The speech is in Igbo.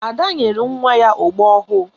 Ada nyere nwa ya ogbo ọhụụ.